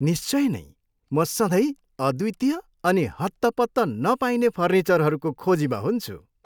निश्चय नैँ! म सधैँ अद्वितीय अनि हत्तपत्त नपाइने फर्निचरहरूको खोजीमा हुन्छु।